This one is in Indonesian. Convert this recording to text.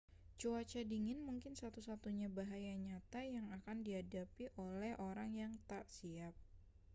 cuaca dingin mungkin satu-satunya bahaya nyata yang akan dihadapi oleh orang yang tak siap